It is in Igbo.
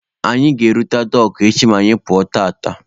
Anyị ga-erute Dọọkụ echi ma anyị pụọ tata.